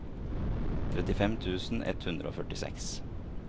trettifem tusen ett hundre og førtiseks